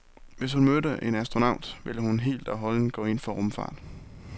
Hvis hun mødte en astronaut, ville hun helt og holdent gå ind for rumfart.